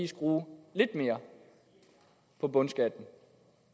skrue lidt mere på bundskatten